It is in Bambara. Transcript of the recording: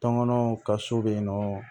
Tɔnkɔnɔw ka so be yen nɔ